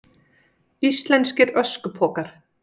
Íslenskir öskupokar.